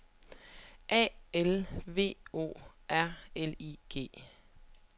A L V O R L I G